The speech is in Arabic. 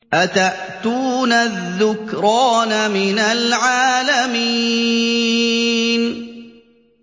أَتَأْتُونَ الذُّكْرَانَ مِنَ الْعَالَمِينَ